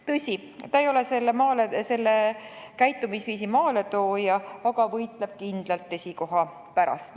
Tõsi, ta ei ole selle käitumisviisi maaletooja, aga võitleb kindlalt esikoha pärast.